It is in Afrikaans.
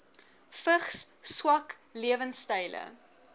vigs swak lewensstyle